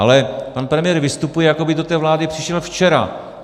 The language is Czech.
Ale pan premiér vystupuje, jako by do té vlády přišel včera.